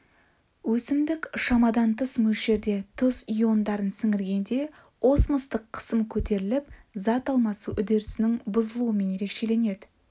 өсімдік шамадан тыс мөлшерде тұз иондарын сіңіргенде осмостық қысым көтеріліп зат алмасу үдерісінің бұзылуымен ерекшеленеді